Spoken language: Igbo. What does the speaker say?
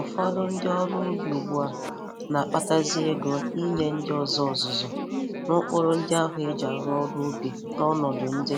Ụfọdụ ndị ọrụ ubi ugbu a na-akpatazi ego n'nye ndị ọzọ ọzụzụ n'ụkpụrụ ndị ahụ e ji arụ ọrụ ụbi n'ọnọdụ ndị